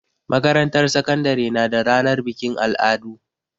Makarantar sakandare na da ranar bikin al'adu.